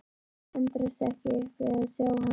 Þær tendrast ekki upp við að sjá hann.